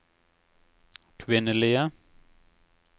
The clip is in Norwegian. kvinnelige